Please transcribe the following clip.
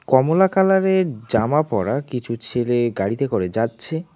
কমলা কালারের জামা পরা কিছু ছেলে গাড়িতে করে যাচ্ছে।